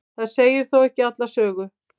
það segir þó ekki alla sögu